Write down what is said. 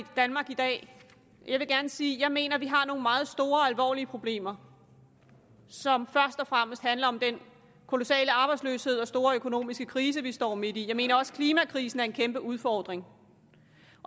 danmark i dag jeg vil gerne sige at jeg mener at vi har nogle meget store og alvorlige problemer som først og fremmest handler om den kolossale arbejdsløshed og store økonomiske krise vi står midt i jeg mener også at klimakrisen en kæmpe udfordring